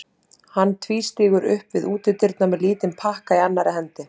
Hann tvístígur upp við útidyrnar með lítinn pakka í annarri hendi.